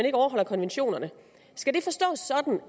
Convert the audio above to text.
ikke overholder konventionerne skal det forstås sådan